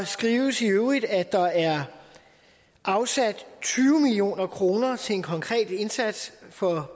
skrives i øvrigt at der er afsat tyve million kroner til en konkret indsats for